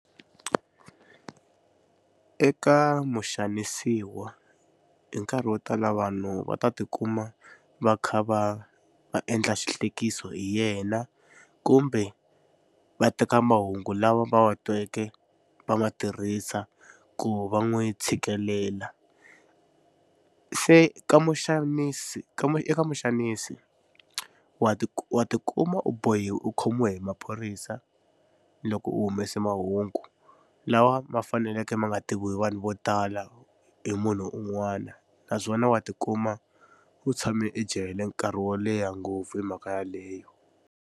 Eka muxanisiwa hi nkarhi wo tala vanhu va ta tikuma va kha va va endla xihlekiso hi yena kumbe va teka mahungu lawa va wa tweke va ma tirhisa ku va n'wi tshikelela. Se ka muxanisi ka eka muxanisi wa wa tikuma u bohiwa u khomiwa hi maphorisa loko u humesa mahungu lawa ma faneleke ma nga tiviwi vanhu vo tala hi munhu un'wana naswona wa tikuma u tshame ejele nkarhi wo leha ngopfu hi mhaka yaleyo.